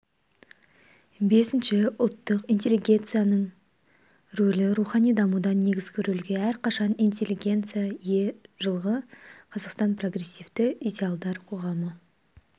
бесінші ұлттық интеллигенцияның рөлі рухани дамуда негізгі рөлге әрқашан интеллигенция ие жылғы қазақстан прогрессивті идеалдар қоғамы